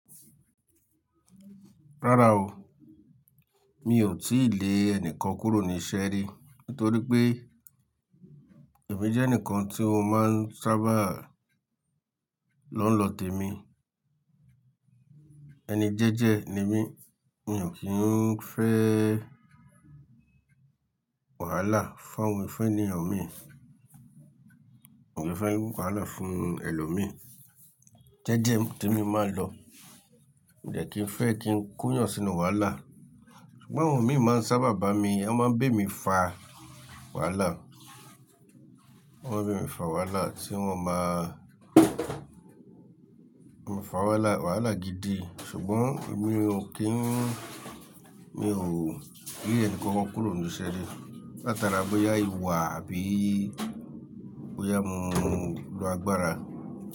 Rárá o, mi ò tíì lé ẹnìkan kúrò ní iṣẹ́ rí, nítorí pé èmi jẹ́ ẹnìkan tí wọ́n máa ń sábà lọ́ ń lọ tèmi. Ẹni jẹ́jẹ́ ni mí, mi ò kí ń fẹ́ wàhálà fún àwọn, fe ènìyàn mi, mi o kin fe wàhálà fún ẹlòmíì. Jẹ́jẹ́ tèmi mo máa ń lọ, mi de kí ń fẹ́ kí ń ko eeyàn sínú wàhálà. Ṣùgbọ́n àwọn mi máa ń sábà bá mi, wọ́n máa ń bé mi fà wàhálà, wọ́n bé mi fà wàhálà tí wọ́n máa, wọ́n máa fà wàhálà, wàhálà gidi. Ṣùgbọ́n èmi ò kí ń, mi ò lé ẹnìkankan kúrò ní iṣẹ́ rí, látara bóyá ìwà àbí bóyá mo lọ agbára.